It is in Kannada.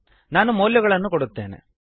ನಾನು ಮೌಲ್ಯಗಳನ್ನು ಕೊಡುತ್ತೇನೆ